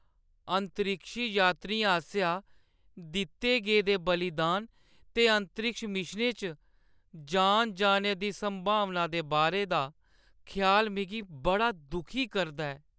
अंतरिक्षी यात्रियें आसेआ दित्ते गेदे बलिदान ते अंतरिक्ष मिशनें च जान जाने दी संभावना दे बारे दा ख्याल मिगी बड़ा दुखी करदा ऐ।